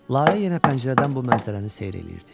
Lalə yenə pəncərədən bu mənzərəni seyir eləyirdi.